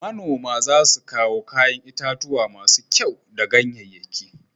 Manoman za su kawo kayan itatuwa masu kyau da ganyanyaki